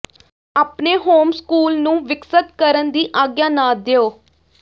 ਆਪਣੇ ਹੋਮਸਕੂਲ ਨੂੰ ਵਿਕਸਤ ਕਰਨ ਦੀ ਆਗਿਆ ਨਾ ਦਿਓ